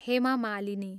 Hema Malini